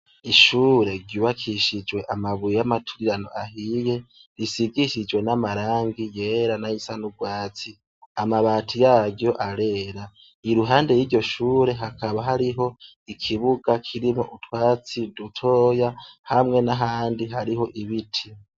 Ishure ryubakishijwe amabuye y'amaturirano ahiye, risigishjwe n'amarangi yera n'ay'asanurwatsi. Amabati yaryo arera. Iruhande y'iryo shure hakaba hariho ikibuga kiriho utwatsi dutoya, hamwe n'ahandi hariho ibiti.